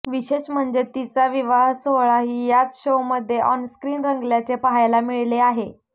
विशेष म्हणजे तिचा विवाहसोहळाही याच शोमध्ये ऑनस्क्रीन रंगल्याचे पाहायला मिळाले होते